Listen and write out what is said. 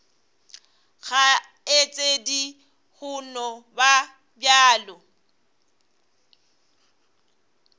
kgaetšedi go no ba bjalo